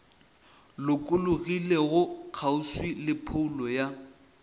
lokologilego kgauswi le phoulo ya